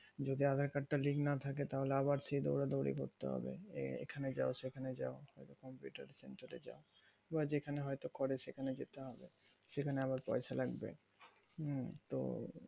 যদি aadhar card তা link না থাকে তাহলে আবার করতে হবে এখানে যা সেখানে না হলে computer সেন্টারে যা বা যেখানে হয় তো করে সেখানে যেতে হবে সেখানে আবার পয়সা লাগবে উম তো